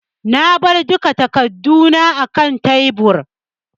Na bar duk takarduna akan tebur.